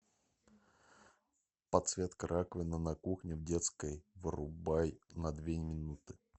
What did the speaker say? подсветка раковины на кухне в детской вырубай на две минуты